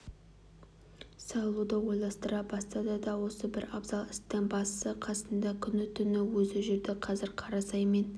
салуды ойластыра бастады да осы бір абзал істің басы-қасында күні-түні өзі жүрді қазір қарасай мен